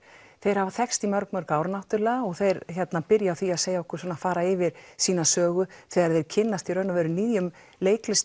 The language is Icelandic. þeir hafa þekkst í mörg mörg ár og þeir byrja á því að segja okkur fara yfir sína sögu þegar þeir kynnast í raun og veru nýjum